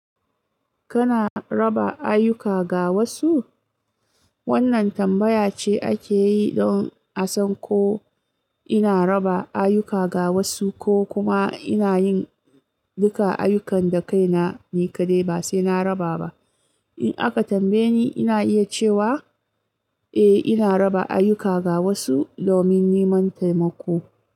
Kana raba ayyuka ga wasu? Wannan tambaya ce ake yi don a san ko ina raba ayyuka ga wasu ko kuma ina yin duka ayyukan da kaina ni kaɗai ba sai na raba ba. In aka tambaye ni, ina iya cewa eh ina raba ayyuka ga wasu domin neman taimako.